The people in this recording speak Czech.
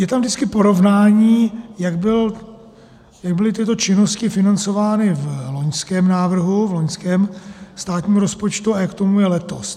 Je tam vždycky porovnání, jak byly tyto činnosti financovány v loňském návrhu, v loňském státním rozpočtu, a jak tomu je letos.